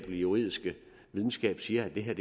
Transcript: juridiske videnskab siger at det her